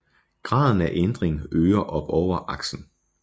Graden af ændring øger opover aksen